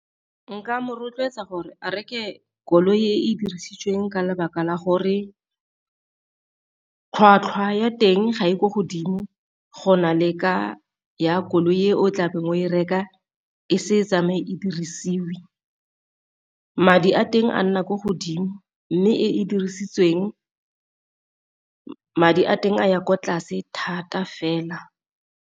Nka mo rotloetsa gore a reke koloi e dirisitsweng ka lebaka la gore tlhwatlhwa ya teng ga e ko godimo, go na le ka ya koloi e o tlabe o e reka e se tsamaye e dirisiwe. Madi a teng a nna ko godimo, mme e e dirisitsweng madi a teng a ya kwa tlase thata fela.